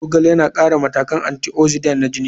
Zogale yana ƙara matakan antioxidant na jini.